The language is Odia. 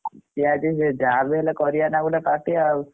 Party ଆଜି ଯାହା ବି ହେଲେ କରିଆ ନା ଗୋଟେ party ନାଉ।